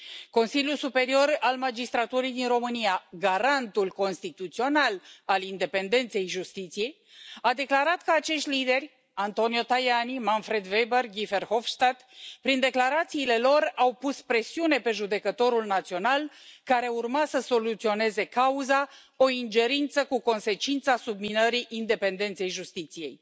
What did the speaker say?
Consiliul Superior al Magistraturii din România, garantul constituțional al independenței justiției, a declarat că acești lideri, Antonio Tajani, Manfred Weber, Guy Verhofstadt, prin declarațiile lor au pus presiune pe judecătorul național care urma să soluționeze cauza, o ingerință cu consecința subminării independenței justiției.